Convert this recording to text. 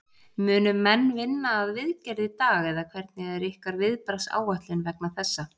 Munu menn vinna að viðgerð í dag eða hvernig er ykkar viðbragðsáætlun vegna þessa?